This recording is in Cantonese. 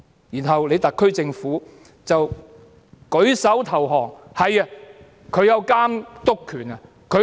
然後特區政府舉手投降。